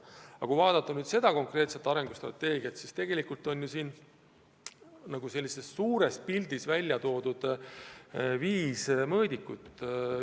Kui nüüd vaadata seda konkreetset arengustrateegiat, siis sellises suures pildis on välja toodud viis mõõdikut.